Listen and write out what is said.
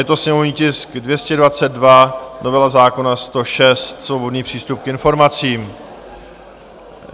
Je to sněmovní tisk 222, novela zákona 106, svobodný přístup k informacím.